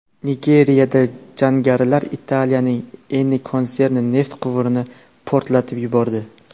Nigeriyada jangarilar Italiyaning Eni konserni neft quvurini portlatib yubordi.